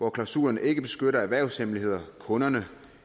at klausulerne ikke beskytter erhvervshemmeligheder kunder